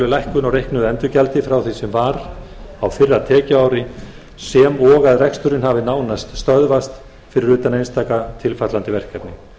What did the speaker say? lækkun á reiknuðu endurgjaldi frá því sem var á fyrra tekjuári sem og að reksturinn hafi nánast stöðvast fyrir utan einstaka tilfallandi verkefni